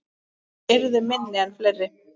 Þær yrðu minni en fleiri.